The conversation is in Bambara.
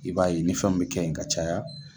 I b'a ye ni fɛnw bɛ kɛ yen ka caya